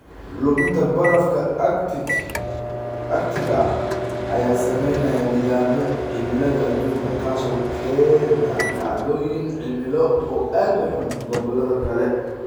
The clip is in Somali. Luminta barafka arctic-ka ayaa saameynaya nidaamyada cimilada adduunka, taasoo keenta dhacdooyin cimilo oo aad u xun gobollada kale.